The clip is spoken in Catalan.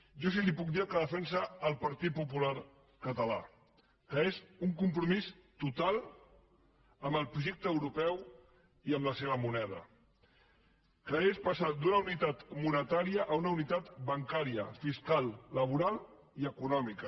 jo sí que li puc dir el que defensa el partit popular català que és un compromís total amb el projecte europeu i amb la seva moneda que és passar d’una unitat monetària a una unitat bancària fiscal laboral i econòmica